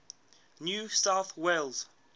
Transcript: new south wales